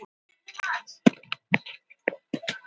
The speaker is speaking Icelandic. Höfðu ekki önnur félög falast eftir þér?